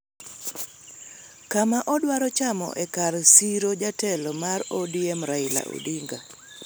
kama odwaro chamo e kar siro jatelo mar ODM, Raila Odinga.